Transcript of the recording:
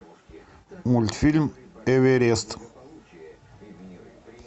мультфильм эверест